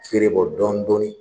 Berebɔ dɔɔnin dɔɔnin